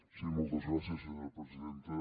sí moltes gràcies senyora presidenta